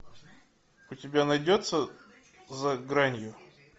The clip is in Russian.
у тебя найдется за гранью